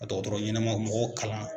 K'a dɔgɔrɔrɔ ɲɛnama ka mɔgɔw kalan.